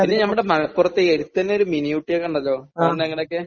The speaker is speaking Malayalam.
പിന്നെ നമ്മുടെ മലപ്പുറത്തെ ഈ അടുത്ത് തന്നെ ഒരു മിനി ഊട്ടിയെ കണ്ടല്ലോ. പോയിട്ടുണ്ടോ അങ്ങോടൊക്കെ?